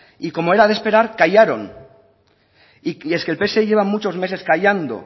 y como era de esperar callaron y es que el pse lleva muchos meses callando